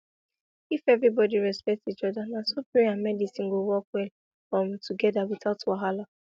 if everybody respect each other na so prayer and medicine go work well um together without wahala